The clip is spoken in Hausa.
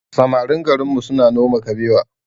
Samarin garinmu suna noma kabewa